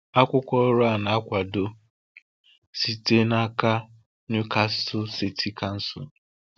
Akwụkwọ ọrụ a na-akwado site n’aka Newcastle City Council.